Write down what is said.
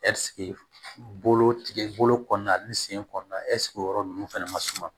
bolo tigɛ bolo kɔɔna ni sen kɔɔna o yɔrɔ ninnu fana man suma